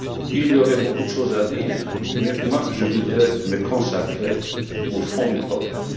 Il y aurait beaucoup de choses à dire, mais je voudrais me consacrer au fond du problème.